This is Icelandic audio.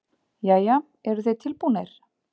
Jæja, eruð þið tilbúnir?